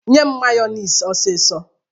Nye m mayọnis ọsisọ!